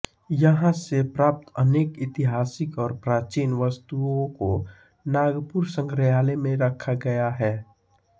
यहां से प्राप्त अनेक ऐतिहासिक और प्राचीन वस्तुओं को नागपुर संग्रहालय में रखा गया है